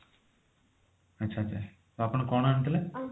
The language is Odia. ଆଚ୍ଛା ଆଚ୍ଛା ତ ଆପଣ କଣ ଆଣିଥିଲେ